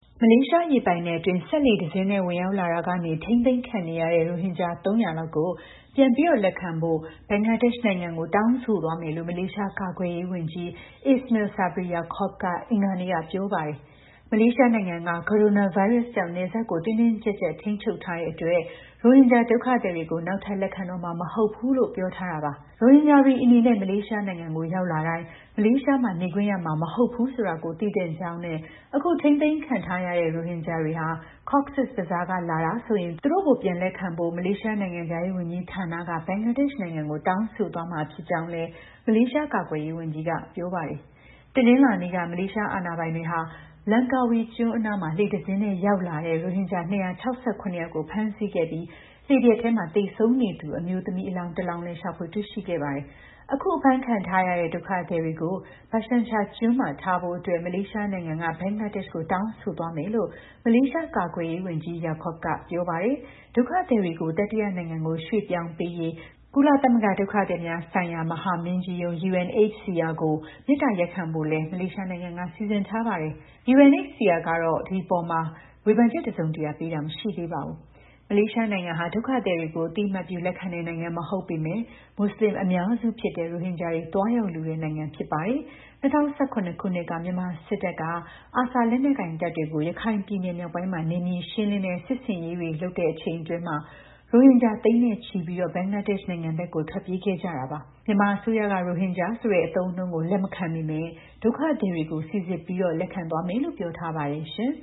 မလေးရှား ရေပိုင်နက်အတွင်း စက်လှေတစ်စင်းနဲ့ ဝင်ရောက်လာရာက ထိန်းသိမ်းခံနေရတဲ့ ရိုဟင်ဂျာ ၃၀၀ လောက်ကို ပြန်လက်ခံဖို့ ဘင်္ဂလားဒေ့ရှ်နိုင်ငံကို တောင်းဆိုသွားမယ်လို့ မလေးရှား ကာကွယ်ရေးဝန်ကြီး Ismail Sabri Yaakob က အင်္ဂါနေ့က ပြောပါတယ်။ မလေးရှားနိုင်ငံက ကိုရိုနာဗိုင်းရပ်စ်ကြောင့် နယ်စပ်ကို တင်းတင်းကြပ်ကြပ်ထိန်းချုပ်ထားတာကြောင့် ရိုဟင်ဂျာ ဒုက္ခသည် တွေကို နောက်ထပ် လက်ခံတော့မှာ မဟုတ်ဘူးလို့ ပြောထားတာပါ။ ရိုဟင်ဂျာတွေ အနေနဲ့ မလေးရှားနိုင်ငံကို ရောက်လာတိုင်း မလေးရှားမှာ နေခွင့်ရမှာ မဟုတ်ဘူးဆိုတာကို သိသင့်ကြောင်းနဲ့ အခု ထိန်းသိမ်းခံထားရတဲ့ ရိုဟင်ဂျာတွေဟာ Cox’s Bazar က လာတာဆိုရင် သူတို့ကို ပြန်လက်ခံဖို့ မလေးရှားနိုင်ငံခြားရေးဝန်ကြီး ဌာနက ဘင်္ဂလားဒေ့ရှ်နိုင်ငံကို တောင်းဆိုသွားမှာ ဖြစ်ကြောင်းလည်း မလေးကာကွယ်ရေးဝန်ကြီးက ပြောပါတယ်။ တနင်္လာနေ့က မလေးရှား အာဏာပိုင်တွေက လန်ကာဝီကျွန်းအနား လှေတစ်စင်းနဲ့ ရောက်လာတဲ့ ရိုဟင်ဂျာ ၂၆၇ ယောက်ကို ဖမ်းဆီးခဲ့ပြီး လှေပျက်ထဲ သေဆုံးနေသူ အမျိုးသမီး အလောင်းတလောင်းကိုလည်း ရှာဖွေ တွေ့ရှိခဲ့ပါတယ်။ အခု အဖမ်းခံထားရတဲ့ ဒုက္ခသည်တွေကို Bhasan Char ကျွန်းမှာ ထားဖို့ မလေးရှားနိုင်ငံက ဘင်္ဂလားဒေ့ရှ်ကို တောင်းဆိုသွားမယ်လို့လည်း မလေးရှား ကာကွယ်ရေးဝန်ကြီး Yaakob က ပြောပါတယ်။ ဒုက္ခသည်တွေကို တတိယနိုင်ငံကို ရွှေ့ပြောင်းပေးရေး ကုလသမဂ္ဂ ဒုက္ခသည်များ ဆိုင်ရာ မဟာမင်းကြီးရုံး (UNHCR) ကို မေတ္တာရပ်ခံဖို့ကိုလည်း မလေးရှားနိုင်ငံက စီစဉ်ထားပါတယ်။ UNHCR ကတော့ ဝေဖန်ချက် တစုံတရာ ပေးတာ မရှိသေးပါဘူး။ မလေးရှားနိုင်ငံဟာ ဒုက္ခသည်တွေကို အသိအမှတ်ပြု လက်ခံတဲ့ နိုင်ငံ မဟုတ်ပေမဲ့ မူဆလင်အများစုဖြစ်တဲ့ ရိုဟင်ဂျာတွေ သွားရောက်လိုတဲ့ နိုင်ငံဖြစ်ပါတယ်။ ၂၀၁၇ ခုနှစ်က မြန်မာစစ်တပ်က ARSA လက်နက်ကိုင်တပ်တွေကို ရခိုင်ပြည်နယ် မြောက်ပိုင်းမှာ နယ်မြေ ရှင်းလင်းတဲ့ စစ်ဆင်ရေးတွေ လုပ်ချိန်အတွင်း ရိုဟင်ဂျာ သိန်းချီပြီး ဘင်္ဂလားဒေ့ရှ်နိုင်ငံဘက် ထွက်ပြေးခဲ့ကြတာပါ။ မြန်မာအစိုးရက ရိုဟင်ဂျာ ဆိုတဲ့အသုံးအနှုန်းကို လက်မခံပေမဲ့ ဒုက္ခသည်တွေကို စိစစ်ပြီး လက်ခံသွားမယ်လို့ ပြောထားပါတယ် ရှင်